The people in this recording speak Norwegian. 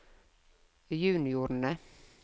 juniorene